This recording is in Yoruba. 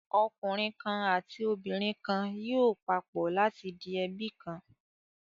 Ọkùnrin kan àti obìnrin kan yóò papọ̀ láti di ẹbí kan.